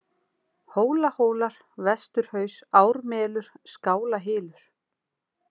Hólahólar, Vesturhaus, Ármelur, Skálahylur